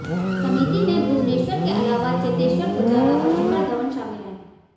समिति में भुवनेश्वर के आलावा चेतेश्वर पुजारा और शिखर धवन शामिल हैं